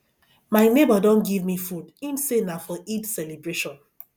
my nebor don give me food im say na for eid celebration